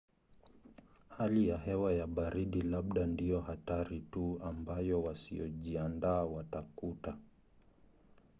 hali ya hewa ya baridi labda ndiyo hatari tu ambayo wasiyojiandaa watakuta